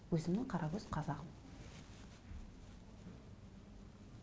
өзімнің қаракөз қазағым